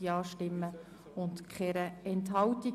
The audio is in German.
Ich möchte alle Planungserklärungen miteinander bearbeiten.